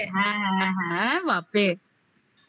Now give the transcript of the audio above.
হ্যাঁ হ্যাঁ হ্যাঁ বাপরে